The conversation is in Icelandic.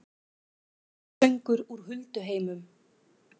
Sálmasöngur úr hulduheimum